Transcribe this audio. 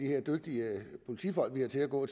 her dygtige politifolk vi har til at gå